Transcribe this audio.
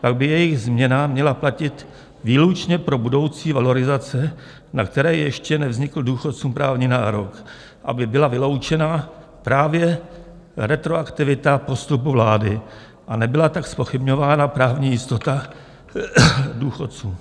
pak by jejich změna měla platit výlučně pro budoucí valorizace, na které ještě nevznikl důchodcům právní nárok, aby byla vyloučena právě retroaktivita postupu vlády a nebyla tak zpochybňována právní jistota důchodců.